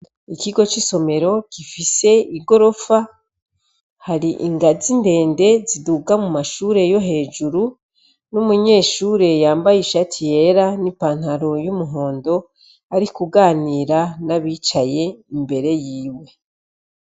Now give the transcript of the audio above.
Ikigo c' isomero gifise igorofa hari ingazi ndende ziduga mu mashure yo hejuru n' umunyeshure yambaye ishati yera n' ipantaro y' umuhondo, ari kuganira n' abicaye imbere yiwe.